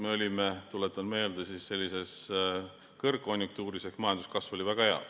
Me olime, tuletan meelde, kõrgkonjunktuuris ehk majanduskasv oli väga hea.